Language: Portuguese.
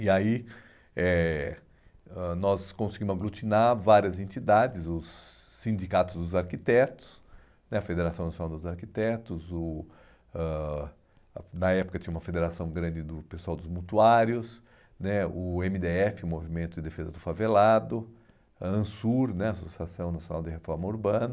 E aí eh ãh nós conseguimos aglutinar várias entidades, os sindicatos dos arquitetos né, a Federação Nacional dos Arquitetos,o ãh na época tinha uma federação grande do pessoal dos mutuários né, o eme dê efe, o Movimento de Defesa do Favelado, a ANSUR né, a Associação Nacional de Reforma Urbana,